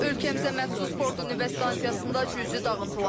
Ölkəmizə məxsus Fordu nüvə stansiyasında cüzi dağıntılar var.